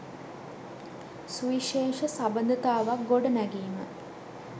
සුවිශේෂ සබඳතාවක් ගොඩනැගීම